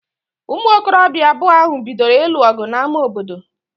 Ụmụ okorobịa abụọ ahụ bidoro ịlụ ọgụ n'ámá obodo